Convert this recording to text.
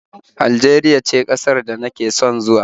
Aljeriya ce ƙasar da nake son zuwa